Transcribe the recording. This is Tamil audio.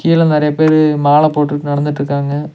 கீழ நெறைய பேரு மால போட்டுட்டு நடத்துட்ருக்காங்க.